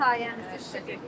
Sizin sayənizdə.